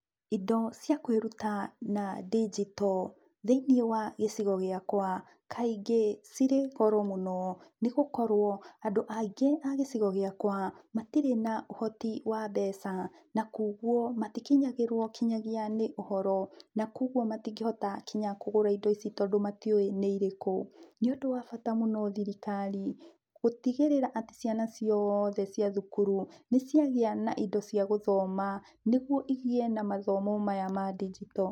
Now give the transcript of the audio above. Indo cia kwiruta na ndijito thĩinĩ wa gicigo giakwa ,kaĩngĩ cirĩ goro mũno nĩ gũkorwo, andũ aingĩ a gĩcigo gĩakwa matire na ũhoti wa mbeca. Na kogwo matikinyagĩrwo kinyagĩa nĩ ũhoro na kogwo matingĩhota kinya kũgũra indo ici tondu matiũũĩ nĩ irĩkũ. Nĩ ũndũ wa bata mũno thirikari gũtigirĩra atĩ ciana ciothe cia thukuru nĩ ciagĩa na indo cia gũthoma nĩgũo igĩe na mathomo maya ma ndijito.